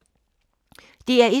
DR1